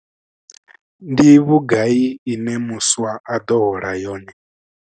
Ndi vhugai ine muswa a ḓo hola yone?